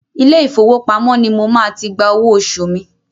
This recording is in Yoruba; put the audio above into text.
Ilé ìfowópamọ́ ni mo máa ti gba owó oṣù mi.